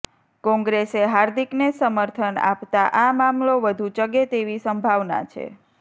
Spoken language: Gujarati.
કોંગ્રેસે હાર્દિકને સમર્થન અાપતાં અા મામલો વધુ ચગે તેવી સંભાવના છે